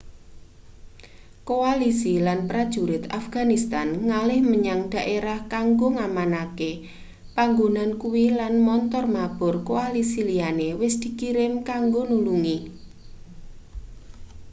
koalisi lan prajurit afghanistan ngalih menyang daerah kanggo ngamanke panggonan kuwi lan montor mabur koalisi liyane wis dikirim kanggo nulungi